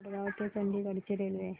मडगाव ते चंडीगढ ची रेल्वे